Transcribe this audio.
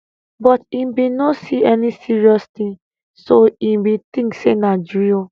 but e bin no see any serious tin so e bin tink say na drill